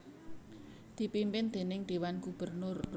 dipimpin déning Dewan Gubernur